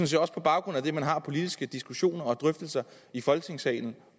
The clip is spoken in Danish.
set også på baggrund af det man har politiske diskussioner og drøftelser i folketingssalen